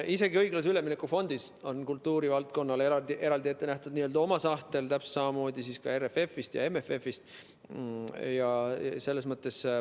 Isegi õiglase ülemineku fondist on kultuurivaldkonnale ette nähtud n‑ö oma sahtel, täpselt samamoodi ka RRF‑ist ja MFF‑ist.